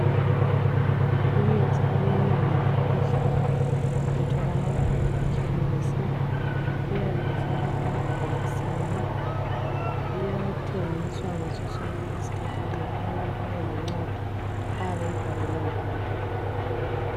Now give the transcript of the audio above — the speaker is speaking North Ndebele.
Imithi eminengi yokukhwehlela itholaka emakhemisi. Iyabe ifakwe emabhokisini, iyathengiswa ngaso sonke isikhathi nxa umuntu elencwadi ayabe eyibhalelwe ngudokotela.